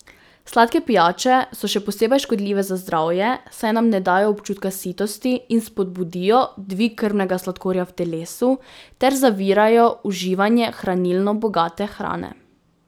Sladke pijače so še posebej škodljive za zdravje, saj nam ne dajejo občutka sitosti in spodbudijo dvig krvnega sladkorja v telesu ter zavirajo uživanje hranilno bogate hrane.